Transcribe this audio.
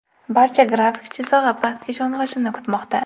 Barcha grafik chizig‘i pastga sho‘ng‘ishini kutmoqda.